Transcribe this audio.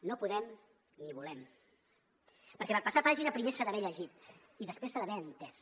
no podem ni volem perquè per passar pàgina primer s’ha d’haver llegit i després s’ha d’haver entès